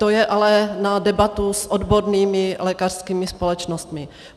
To je ale na debatu s odbornými lékařskými společnostmi.